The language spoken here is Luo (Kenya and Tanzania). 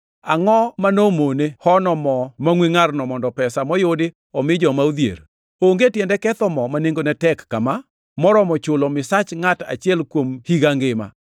“Angʼo ma nomone hono mo mangʼwe ngʼarno mondo pesa moyudi omi joma odhier? Onge tiende ketho mo ma nengone tek kama, moromo chulo misach ngʼat achiel kuom higa ngima.”